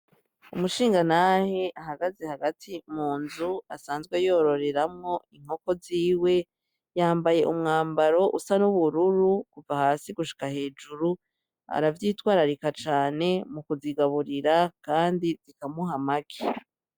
Umushingantahe ahagaze hagati munzu asanzwe yororeramwo inkoko ziwe, yambaye umwambaro usa nubururu kuva hasi gushika hejuru, aravyitwararika cane mukuzigaburira, kandi zikamuha amagi.